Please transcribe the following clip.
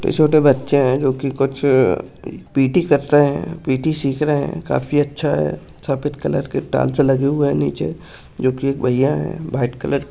छोटे बच्चे है जो की कुछ पी_टी कर रहे है पी_टी सीख रखे है काफी अच्छा है सफ़ेद कलर के टौर्च लगे हुए है नीचे जो की एक भईया है व्हाइट कलर --